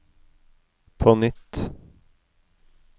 på nytt